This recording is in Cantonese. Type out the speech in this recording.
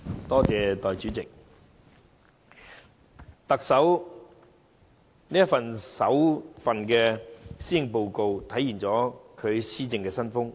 代理主席，特首的首份施政報告體現了其施政新風。